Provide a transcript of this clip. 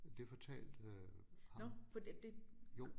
Det fortalte ham Jo